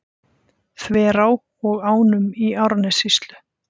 Þverá og ánum í Árnessýslu.